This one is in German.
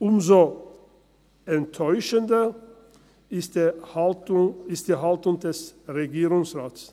Umso enttäuschender ist die Haltung des Regierungsrates.